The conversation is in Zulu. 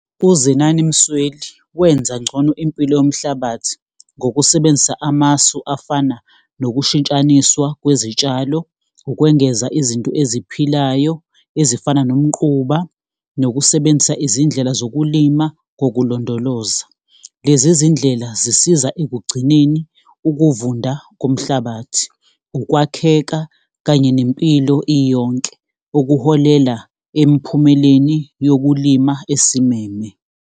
UZenani Msweli, wenza ngcono impilo yomhlabathi ngokusebenzisa amasu afana nokushintshaniswa kwezitshalo, ukwengeza izinto eziphilayo ezifana nomquba, nokusebenzisa izindlela zokulima kokulondoloza. Lezi zindlela zisiza ekugcineni ukuvunda komhlabathi, ukwakheka kanye nempilo iyonke, okuholela emphumeleni yokulima esimeme.